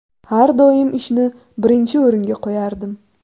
Har doim ishni birinchi o‘ringa qo‘yardim.